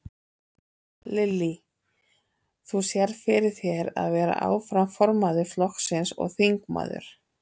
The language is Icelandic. Lillý: Þú sérð fyrir þér að vera áfram formaður flokksins og þingmaður?